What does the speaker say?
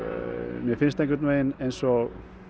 mér finnst einhvern veginn eins og